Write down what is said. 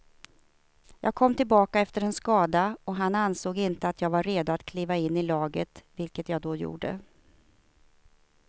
Jag kom tillbaka efter en skada och han ansåg inte att jag var redo att kliva in i laget, vilket jag då gjorde.